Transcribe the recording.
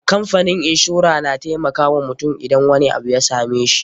Kamfanin inshora na taimakawa mutum idan wani abu ya same shi.